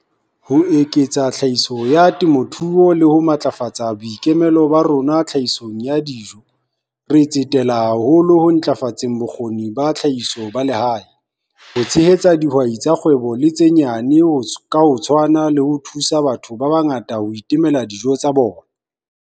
Ho eketsa tlhahiso ya temothuo le ho matlafatsa boikemelo ba rona tlhahisong ya dijo, re tsetela haholo ho ntlafatseng bokgoni ba tlhahiso ba lehae, ho tshehetsa dihwai tsa kgwebo le tse nyane ka ho tshwana le ho thusa batho ba bangata ho itemela dijo tsa bona.